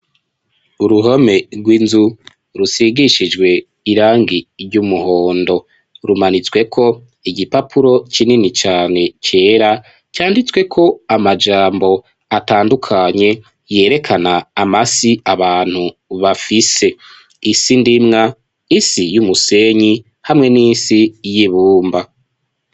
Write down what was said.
Uruhome rwinzu rusigishijwe irangi ry'umuhondo rumanitswe ko igipapuro kinini cane cera canditswe ko amajambo atandukanye yerekana amasi abantu bafise isindimwa isi y'umusenyi hamwe n'isi y'ibumba.